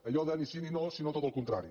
allò de ni sí ni no sinó tot el contrari